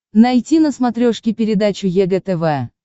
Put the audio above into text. найти на смотрешке передачу егэ тв